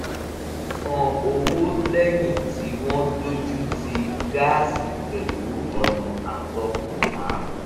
wọ́n san owó lẹ́yìn tí wọ́n dojútì gáàsì pẹ̀lú ọ̀nà àtọkànwá